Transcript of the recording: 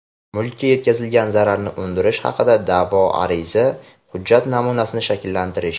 Mulkka yetkazilgan zararni undirish haqida da’vo ariza | Hujjat namunasini shakllantirish.